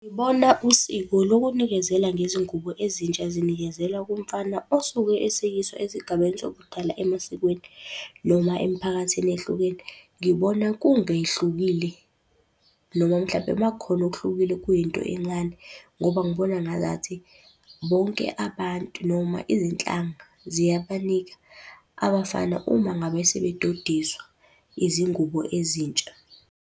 Ngibona usiko lokunikezela ngezingubo ezintsha zinikezelwa kumfana osuke eseyiswa esigabeni sobudala emasikweni noma emiphakathini ehlukene. Ngibona kungehlukile noma mhlampe uma kukhona okuhlukile kuyinto encane, ngoba ngibona ngazathi bonke abantu noma izinhlanga ziyabanika abafana uma ngabe sebedodiswa, izingubo ezintsha.